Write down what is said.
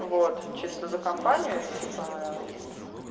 вот чисто за компанию и типа